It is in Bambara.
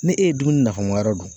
Ne e ye dumuni nafama yɔrɔ dun.